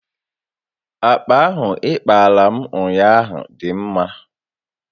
Akpa ahụ ị kpaara m ụnyaahụ dị mma